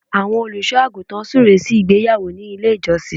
Àwọn Olùṣọ́ àgùntàn súre sí ìgbéyàwó nílé ìjọsìn